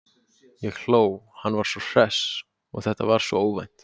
Ég hló, hann var svo hress og þetta var svo óvænt.